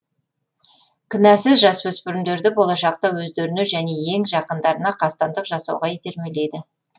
кінәсіз жасөспірімдерді болашақта өздеріне және ең жақындарына қастандық жасауға итермелейді